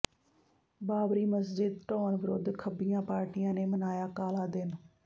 ਬਾਬਰੀ ਮਸਜਿਦ ਢਾਹੁਣ ਵਿਰੁੱਧ ਖੱਬੀਆਂ ਪਾਰਟੀਆਂ ਨੇ ਮਨਾਇਆ ਕਾਲਾ ਦਿਨ